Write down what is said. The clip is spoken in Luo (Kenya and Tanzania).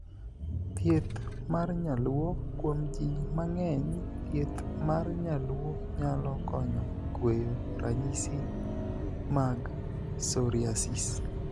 Thieth mar nyaluo. Kuom jii mang'eny, thieth mar nyaluo nyalo konyo kweyo ranysis mag 'psoriasis'.